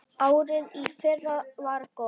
Árið í fyrra var gott.